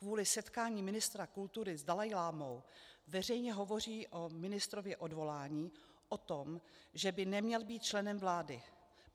Kvůli setkání ministra kultury s dalajlámou veřejně hovoří o ministrově odvolání, o tom, že by neměl být členem vlády.